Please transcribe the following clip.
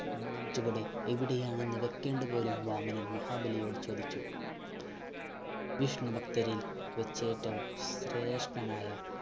മൂന്നാം ചുവടിൽ എവിടെയാണ് വെക്കേണ്ടത് പോലും വാമനൻ മഹാബലിയോട് ചോദിച്ചു വിഷ്‌ണു ഭക്തരിൽ വച്ചേറ്റവും ശ്രേഷ്ഠനായ